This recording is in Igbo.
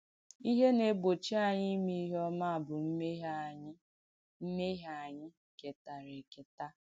Ìhé nà-ègbọ́chì ànyị̣ ìmè ìhé ọ̀mà bù m̀mèhié ànyị̣ m̀mèhié ànyị̣ kètàrà èkètà.